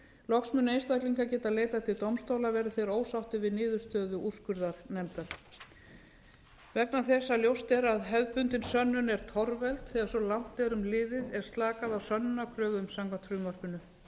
loks munu einstaklingar geta leitað til dómstóla verði þeir ósáttir við niðurstöðu úrskurðarnefndar vegna þess að ljóst er að hefðbundin sönnun er torveld þegar svo langt erum liðið er slakað á sönnunarkröfum samkvæmt frumvarpinu